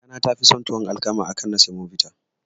Kakana tafi son tuwon alkama akan na samobita.